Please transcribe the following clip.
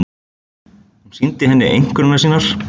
Hún sýndi henni einkunnirnar sínar.